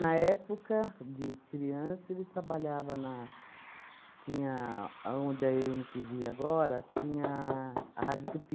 Na época, de criança, ele trabalhava na... tinha aonde a êm tíi víi agora tinha a Rádio Tupi.